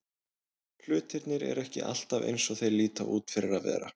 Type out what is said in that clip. Hlutirnir eru ekki alltaf eins og þeir líta út fyrir að vera.